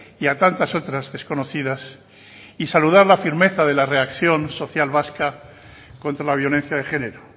y a tantas otras desconocidas y saludar la firmeza de la reacción social vasca contra la violencia de género